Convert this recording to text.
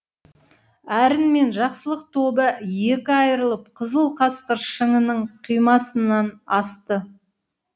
әрін мен жақсылық тобы екі айырылып қызыл қасқыр шыңының қимасынан асты